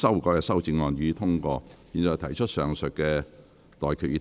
我現在向各位提出上述待決議題。